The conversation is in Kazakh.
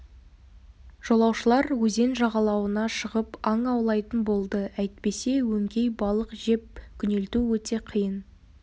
жолаушылар өзен жағалауына шығып аң аулайтын болды әйтпесе өңкей балық жеп күнелту өте қиын